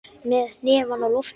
Með hnefann á lofti.